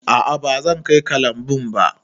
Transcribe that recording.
A'a bazan kai ka lambun ba.